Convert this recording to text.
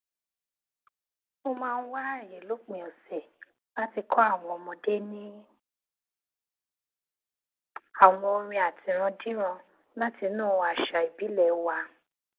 mo máa ń wá àyè lópin ọsẹ láti kó àwọn ọmọdé ní àwọn orin àtirándíran láti inú àṣà ìbílẹ wa